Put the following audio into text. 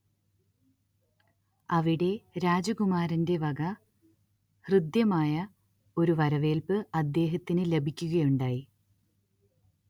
അവിടെ രാജകുമാരന്റെ വക ഹൃദ്യമായ ഒരു വരവേൽപ്പ് അദ്ദേഹത്തിന്‌ ലഭിക്കുകയുണ്ടായി